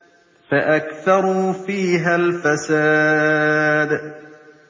فَأَكْثَرُوا فِيهَا الْفَسَادَ